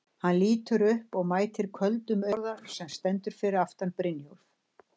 Hann lítur upp og mætir köldum augum Bárðar sem stendur fyrir aftan Brynjólf.